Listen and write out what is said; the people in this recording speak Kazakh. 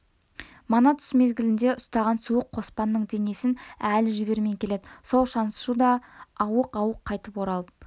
мана түс мезгілінде ұстаған суық қоспанның денесін әлі жібермей келеді сол шаншу да ауық-ауық қайтып оралып